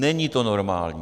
Není to normální.